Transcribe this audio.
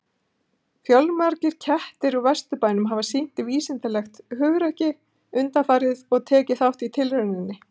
Fjölmargir kettir úr Vesturbænum hafa sýnt vísindalegt hugrekki undanfarið og tekið þátt í tilrauninni.